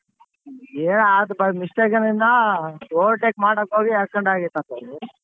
ಏ ಅದ್ by mistake ನಿಂದ ಆ overtake ಮಾಡಕೋಗಿ accident ಅಯ್ತಂತಣ್ಣ.